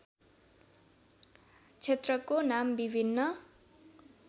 क्षेत्रको नाम विभिन्न